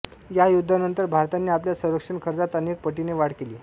या युद्धानंतर भारताने आपल्या संरक्षण खर्चात अनेक पटीने वाढ केली